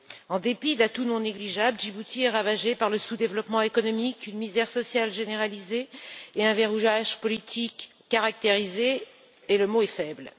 En dépit d'atouts non négligeables, Djibouti est ravagé par le sous développement économique, une misère sociale généralisée et un verrouillage politique caractérisé, et le mot est faible.